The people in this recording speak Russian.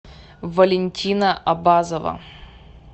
валентина абазова